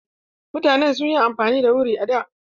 Mutane sun yi amfani da wuri a da.